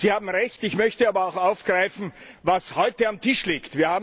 Sie haben Recht. Ich möchte aber auch aufgreifen, was heute auf dem Tisch liegt.